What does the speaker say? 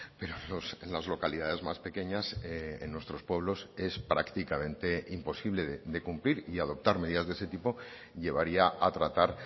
pero en las localidades más pequeñas en nuestros pueblos es prácticamente imposible de cumplir y adoptar medidas de ese tipo llevaría a tratar